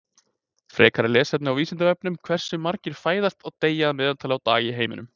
Frekara lesefni á Vísindavefnum Hversu margir fæðast og deyja að meðaltali á dag í heiminum?